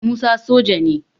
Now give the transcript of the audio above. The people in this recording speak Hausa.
Musa soja ne